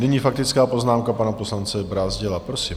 Nyní faktická poznámka pana poslance Brázdila, prosím.